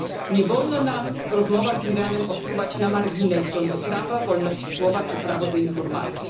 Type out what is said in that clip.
Nie wolno nam w rozmowach z Iranem odsuwać na margines rządów prawa, wolności słowa czy prawa do informacji.